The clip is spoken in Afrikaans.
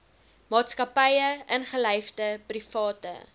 maatskappye ingelyfde private